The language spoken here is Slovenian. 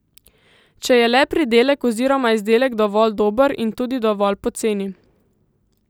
Če je le pridelek oziroma izdelek dovolj dober in tudi dovolj poceni.